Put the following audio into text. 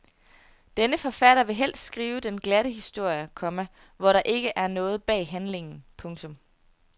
Denne forfatter vil helst skrive den glatte historie, komma hvor der ikke er noget bag handlingen. punktum